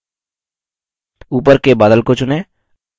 ऊपर के बादल को चुनें